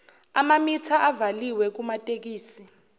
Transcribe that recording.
amamitha avaliwe kumatekisi